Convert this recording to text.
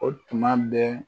O tuma bɛ